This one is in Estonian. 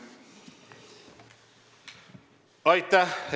Aitäh!